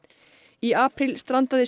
í apríl strandaði